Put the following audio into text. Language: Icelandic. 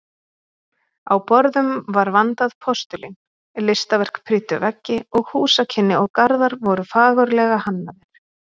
Á borðum var vandað postulín, listaverk prýddu veggi og húsakynni og garðar voru fagurlega hannaðir.